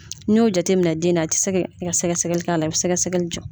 N'i y'o jateminɛ den na a ti se kɛ sɛgɛsɛgɛli k'a la i bɛ sɛgɛsɛgɛli jɔ.